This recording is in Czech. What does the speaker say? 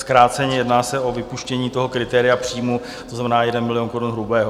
Zkráceně se jedná o vypuštění toho kritéria příjmu, to znamená 1 milion korun hrubého.